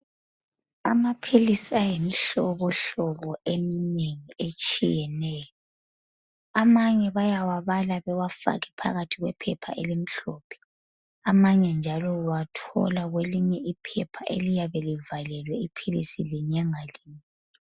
Amaphilisi ayimihlobohlobo eminengi etshiyeneyo. Amanye bayawabala bewafake phakathi kwephepha elimhlophe, amanye njalo uwathola kwelinye iphepha eliyabe livalelwe iphilisi linye ngalinye.